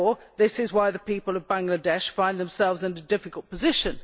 This is why the people of Bangladesh find themselves in a difficult position.